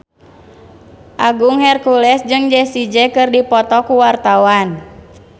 Agung Hercules jeung Jessie J keur dipoto ku wartawan